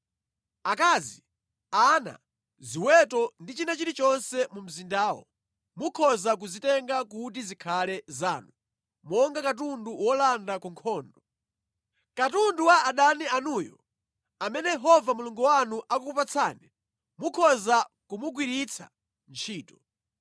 Akazi, ana, ziweto ndi china chilichonse mu mzindamo, mukhoza kuzitenga kuti zikhale zanu monga katundu wolanda ku nkhondo. Katundu wa adani anuyu amene Yehova Mulungu wanu akukupatsani, mukhoza kumugwiritsa ntchito.